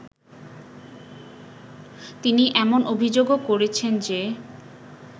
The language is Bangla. তিনি এমন অভিযোগও করেছেন যে